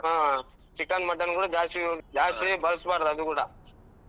ಹ್ಮ್. Chicken mutton ಗಳು ಜಾಸ್ತಿ ಬಳಸ್ಬಾರ್ದು ಅವು ಕೂಡ.